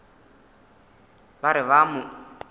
ba re ba a mo